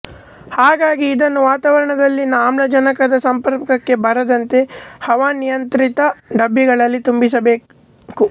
ಹಾಗಾಗಿ ಇದನ್ನು ವಾತಾವರಣದಲ್ಲಿನ ಆಮ್ಲಜನಕದ ಸಂಪರ್ಕಕ್ಕೆ ಬರದಂತೆ ಹವಾನಿಯಂತ್ರಿತ ಡಬ್ಬಿಗಳಲ್ಲಿ ತುಂಬಿಸಿಡಬೇಕು